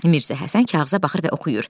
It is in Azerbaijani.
Mirzə Həsən kağıza baxır və oxuyur.